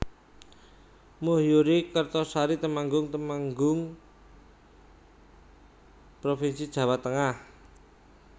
Muh Yuhri Kertosari Temanggung Temanggung provinsi Jawa Tengah